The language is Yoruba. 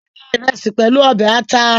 A le je Iresi pẹlu ọbẹ ata